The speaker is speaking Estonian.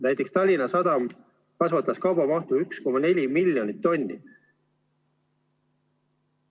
Näiteks Tallinna Sadam kasvatas kaubamahtu 1,4 miljonit tonni.